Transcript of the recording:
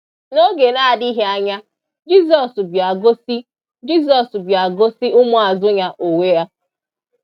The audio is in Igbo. N’oge na-adịghị anya, Jisọs bịa gosi Jisọs bịa gosi ụmụazụ Ya onwe Ya.